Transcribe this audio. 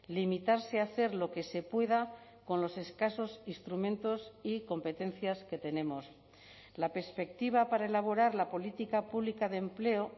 limitarse a hacer lo que se pueda con los escasos instrumentos y competencias que tenemos la perspectiva para elaborar la política pública de empleo